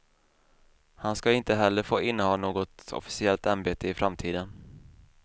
Han ska inte heller få inneha något officiellt ämbete i framtiden.